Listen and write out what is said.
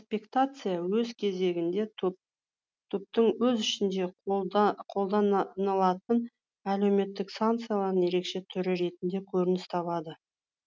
экспектация өз кезегінде топтың өз ішінде қолданылатын әлеуметтік санкцияларының ерекше түрі ретінде көрініс табады